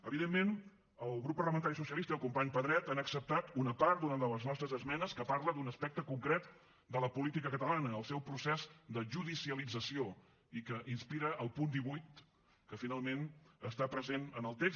evidentment el grup parlamentari socialista i el company pedret han acceptat una part d’una de les nostres esmenes que parla d’un aspecte concret de la política catalana el seu procés de judicialització i que inspira el punt divuit que finalment està present en el text